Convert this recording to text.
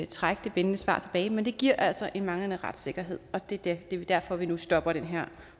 trække det bindende svar tilbage men det giver altså en manglende retssikkerhed og det det er derfor vi nu stopper den her